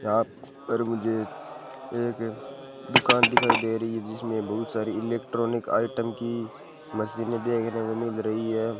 यहां पर मुझे एक दुकान दिखाई दे रही है जिसमें बहुत सारी इलेक्ट्रॉनिक आइटम की मशीने देखने को मिल रही है।